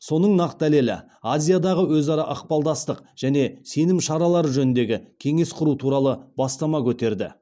соның нақ дәлелі азиядағы өзара ықпалдастық және сенім шаралары жөніндегі кеңес құру туралы бастама көтерді